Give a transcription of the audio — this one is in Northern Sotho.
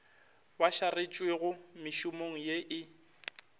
ba šaretšwego mešomong ye e